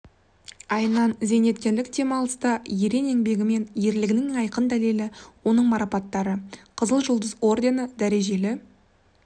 айынан зейнеткерлік демалыста ерен еңбегі мен ерлігінің айқын дәлеле оның марапаттары қызыл жұлдыз ордені дәрежелі